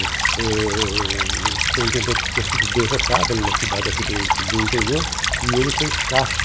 O o o o superintendente tinha sido derrotado em uma cidade aqui do do interior e ele fez caixa.